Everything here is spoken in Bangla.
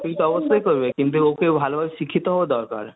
চাকরি তো অবশ্যই করবে কিন্তু ওকেও ভালোভাবে শিক্ষিত হতে হবে